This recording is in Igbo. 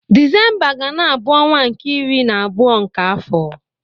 Disemba ga-na abụ ọnwa nke iri na abụọ nke afọ.